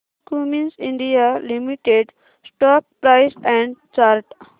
Cummins India limited stock price and chart